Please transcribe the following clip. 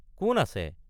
কোন আছে?